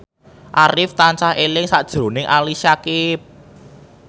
Arif tansah eling sakjroning Ali Syakieb